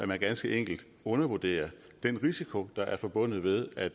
man ganske enkelt undervurderer den risiko der er forbundet med at